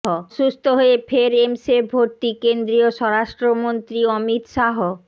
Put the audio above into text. অসুস্থ হয়ে ফের এমসে ভর্তি কেন্দ্রীয় স্বরাষ্ট্রমন্ত্রী অমিত শাহ